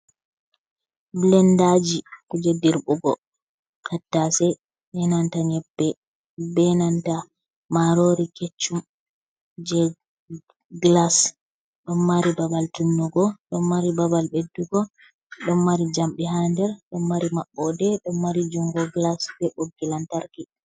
Blendaji jei dirɓugo tattase be nanta nyebbe, be nanta marori keccum, jei glas. Ɗo mari babal tunnugo, ɗo mari babal ɓeddugo, ɗo mari jamɗe ha nder, ɗo mari maɓɓode, ɗo mari jungo glas be ɓoggi lantarki.